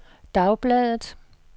dagbladet